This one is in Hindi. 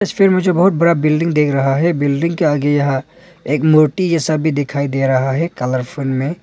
तस्वीर में मुझे बहुत बड़ा बिल्डिंग दिख रहा है बिल्डिंग के आगे यहां एक मूर्ति जैसा भी दिखाई दे रहा है कलरफुल में।